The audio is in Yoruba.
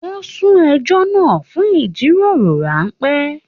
Wọ́n sún ẹjọ́ náà fún ìjíròrò ráńpẹ́